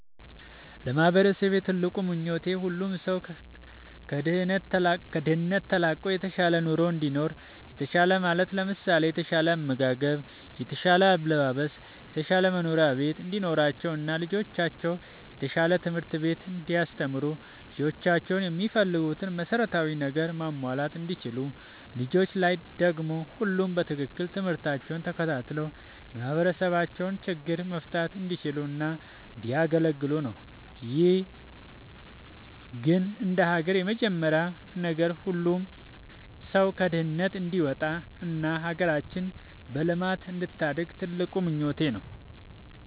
ለማህበረሰቤ ትልቁ ምኞቴ ሁሉም ሰው ከድህነት ተላቆ የተሻለ ኑሮ እንዲኖር። የተሻለ ማለት ለምሳሌ የተሻለ አመጋገብ፣ የተሻለ አለባበስ፣ የተሻለ መኖሪያ ቤት እንዲኖራቸው እና ልጆቻቸው የተሻለ ትምህርትቤት እንዲያስተምሩ ልጆቻቸው የሚፈልጉትን መሰረታዊ ነገር ማሟላት እንዲችሉ። ልጆች ላይ ደግሞ ሁሉም በትክክል ትምርህታቸውን ተከታትለው የማህበረሰባቸውን ችግሮች መፍታት እንዲችሉ እና እንዲያገለግሉ ነው። ግን እንደሀገር የመጀመሪያው ነገር ሁሉም ሰው ከድህነት እንዲወጣ እና ሀገራችን በልማት እንድታድግ ትልቁ ምኞቴ ነው።